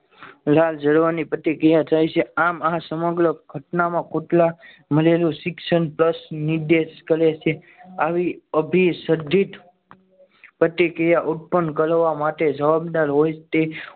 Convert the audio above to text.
લાળ જરવાની પ્રતિક્રિયા થાય છે આમ આ સમગ્ર ઘટનામાં કુતરા મળેલું શિક્ષણ પ્લસ નિર્દેશ કરે છે આવી અભિષદધિત પ્રતિક્રિયા ઉત્પન કરવા માટે જવાબદાર હોય તે